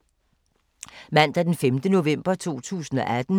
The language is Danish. Mandag d. 5. november 2018